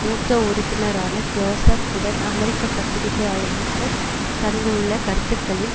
மூத்த உறுப்பினரான Joseph Biden அமெரிக்க பத்திரிக்கையாளகளுக்கு தந்துள்ள கருத்துக்களில்